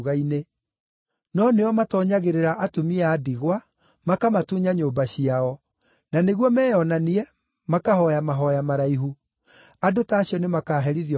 No nĩo matoonyagĩrĩra atumia a ndigwa makamatunya nyũmba ciao, na nĩguo meyonanie, makahooya mahooya maraihu. Andũ ta acio nĩmakaherithio mũno makĩria.”